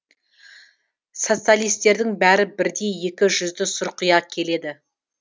социалистердің бәрі бірдей екі жүзді сұрқия келеді